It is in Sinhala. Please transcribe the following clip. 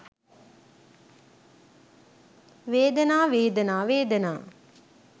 වේදනා වේදනා වේදනා